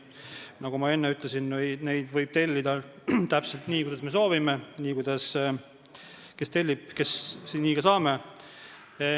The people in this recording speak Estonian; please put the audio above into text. Nagu ma enne ütlesin, neid võib tellida täpselt nii, kuidas me soovime, kes mida tellib, see nii ka saab.